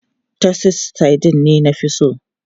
Titus sardines ne na fi so.